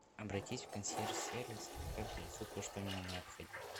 обратись в консьерж сервис пускай принесут то что мне необходимо